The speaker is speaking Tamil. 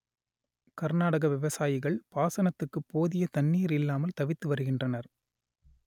கர்நாடக விவசாயிகள் பாசனத்துக்கு போதிய தண்ணீர் இல்லாமல் தவித்து வருகின்றனர்